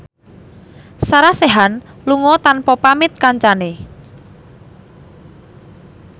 Sarah Sechan lunga tanpa pamit kancane